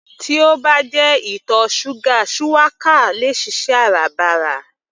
Tí ó bá jẹ ìtọ̀ ṣúgà shuwaka le è ṣiṣẹ́ Áràbarà